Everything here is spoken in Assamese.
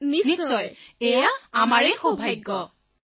সামূহিক স্বৰঃ নিশ্চয় এয়াতো আমাৰ সৌভাগ্য